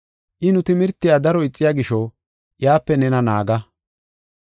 I nu timirtiya daro ixiya gisho iyape nena naaga.